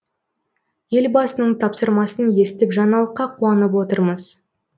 елбасының тапсырмасын естіп жаңалыққа қуанып отырмыз